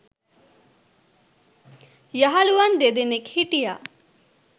යහළුවන් දෙදෙනෙක් හිටියා.